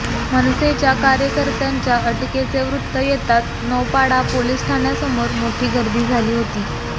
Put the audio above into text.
मनसेच्या कार्यकर्त्यांच्या अटकेचे वृत्त येताच नौपाडा पोलीस ठाण्यासमोर मोठी गर्दी झाली होती